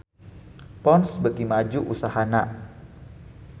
Ponds beuki maju usahana